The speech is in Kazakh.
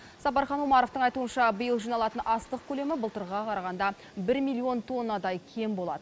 сапархан омаровтың айтуынша биыл жиналатын астық көлемі былтырғыға қарағанда бір миллион тоннадай кем болады